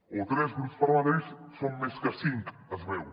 o tres grups parlamentaris són més que cinc es veu